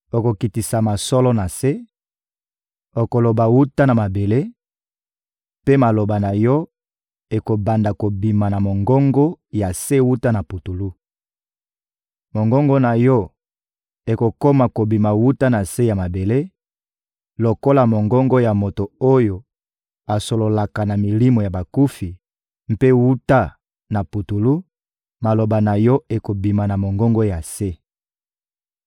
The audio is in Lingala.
Okokitisama solo na se, okoloba wuta na mabele, mpe maloba na yo ekobanda kobima na mongongo ya se wuta na putulu. Mongongo na yo ekokoma kobima wuta na se ya mabele lokola mongongo ya moto oyo asololaka na milimo ya bakufi; mpe wuta na putulu, maloba na yo ekobima na mongongo ya se.